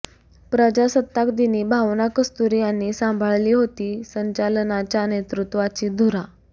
प्रजासत्ताक दिनी भावना कस्तुरी यांनी सांभाळली होती संचलनाच्या नेतृत्वाची धुरा